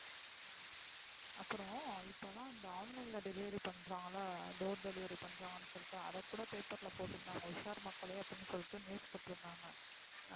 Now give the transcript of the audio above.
இப்போ இப்போலாம் வந்து online ல delivery பண்றாங்கள door delivery பன்றங்கனு சொல்லிட்டு அதா கூட paper ல போற்றுதங்க உஷார் மக்களேஅப்படினு சொல்லிட்டு.